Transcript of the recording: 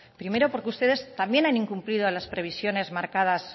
primero porque ustedes también han incumplido las previsiones marcadas